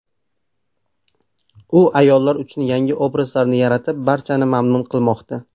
U ayollar uchun yangi obrazlarni yaratib, barchani mamnun qilmoqda.